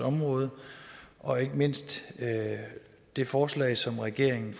område og ikke mindst det forslag som regeringen